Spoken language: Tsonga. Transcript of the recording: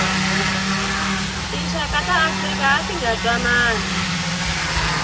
tinxaka ta afrika atinga ntwanani